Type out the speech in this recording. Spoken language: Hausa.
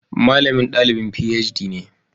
Malamin dalibin PhD ne